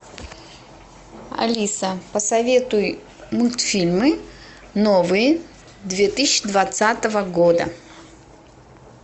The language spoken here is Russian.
алиса посоветуй мультфильмы новые две тысячи двадцатого года